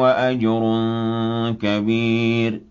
وَأَجْرٌ كَبِيرٌ